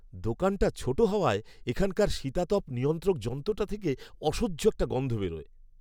দোকানটা ছোট হওয়ায়, এখানকার শীতাতপ নিয়ন্ত্রক যন্ত্রটা থেকে অসহ্য একটা গন্ধ বেরোয়।